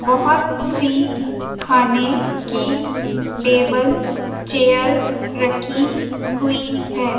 बहुत सी खाने की टेबल चेयर रखी हुई है।